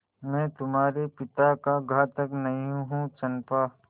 मैं तुम्हारे पिता का घातक नहीं हूँ चंपा